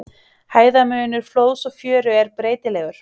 Hæðarmunur flóðs og fjöru er breytilegur.